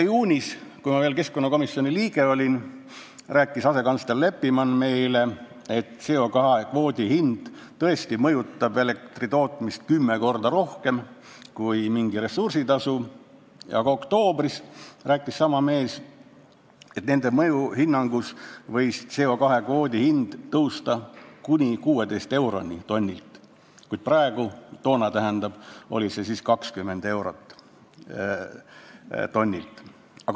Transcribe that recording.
Juunis, kui ma olin veel keskkonnakomisjoni liige, rääkis asekantsler Leppiman meile, et CO2 kvoodi hind mõjutab tõesti elektri tootmist kümme korda rohkem kui mingi ressursitasu, aga oktoobris rääkis sama mees, et nende mõjuhinnangu järgi võis CO2 kvoodi hind tõusta kuni 16 euroni tonnilt, kuid toona oli see 20 eurot tonnilt.